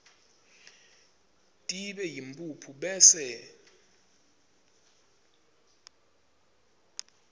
tibe yimphuphu bese